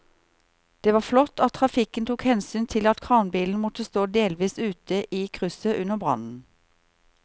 Det var flott at trafikken tok hensyn til at kranbilen måtte stå delvis ute i krysset under brannen.